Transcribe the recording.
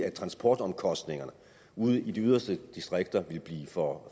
at transportomkostningerne ude i de yderste distrikter vil blive for